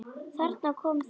Þarna kom það.